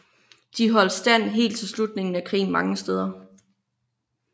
De holdt stand helt til slutningen af krigen mange steder